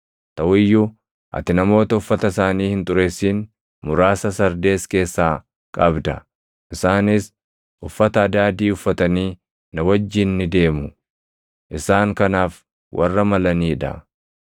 Taʼu iyyuu ati namoota uffata isaanii hin xureessin muraasa Sardees keessaa qabda. Isaanis uffata adaadii uffatanii na wajjin ni deemu; isaan kanaaf warra malanii dha.